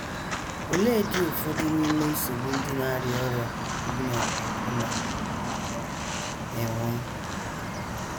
Oleedị ụfọdụ n’ime nsogbu ndị na - arịa ọrịa ogbu na nkwonkwo na - enwe?